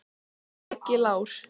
Siggi Lár.